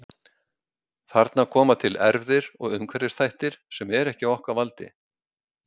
Þarna koma til erfðir og umhverfisþættir sem eru ekki á okkar valdi.